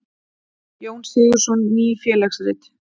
Jón Sigurðsson: Ný félagsrit.